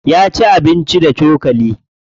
Ya ci abincin da cokali.